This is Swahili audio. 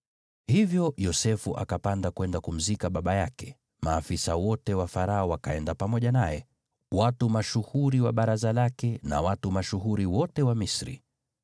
Hivyo Yosefu akapanda kwenda kumzika baba yake. Maafisa wote wa Farao wakaenda pamoja naye, watu mashuhuri wa baraza lake na watu mashuhuri wote wa Misri.